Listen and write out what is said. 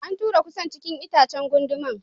An tura kusan cikin itacen da gunduman.